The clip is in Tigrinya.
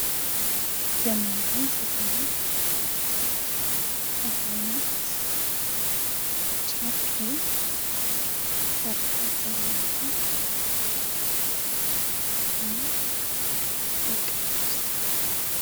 ዘመናዊ ዝኾነ ሓደ ዓይነት ጨርቂ ስራሓት ዘለዎ ዝተከደና ደቂ ኣንስትዮ።